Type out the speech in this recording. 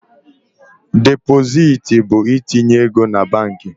Depositi bụ itinye ego na banki.